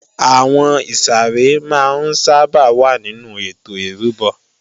Àwọn ìsàrẹ́ máa ń sábà wà nínú ètò ìrúbọ